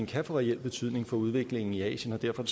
kan få reel betydning for udviklingen i asien og derfor